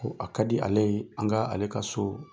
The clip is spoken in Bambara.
Ko a kadi ale ye an ka ale ka soo